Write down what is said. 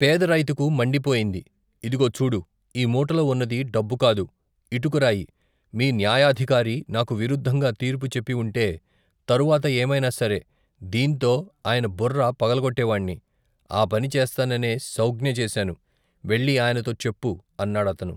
పేదరైతుకు మండిపోయింది ఇదుగో చూడు ఈ మూటలో ఉన్నది డబ్బుకాదు ఇటుకరాయి మీ న్యాయాధికారి నాకు విరుద్దంగా తీర్పు చెప్పివుంటే తరవాత ఏమైనాసరే దీన్తో ఆయన బుర్ర పగలగొట్టేవాణ్ణి ఆపని చేస్తాననే సౌజ్ఞచేశాను వెళ్ళి ఆయనతో చెప్పు అన్నాడతను.